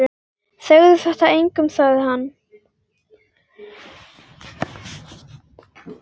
Segðu þetta engum sagði hann.